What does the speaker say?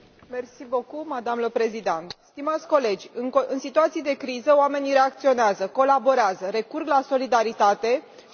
În situații de criză oamenii reacționează, colaborează, recurg la solidaritate și intervin pentru a i ajuta pe cei care au nevoie.